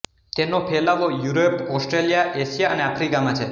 તેનો ફેલાવો Europe Australia Asia અને આફ્રિકામાં છે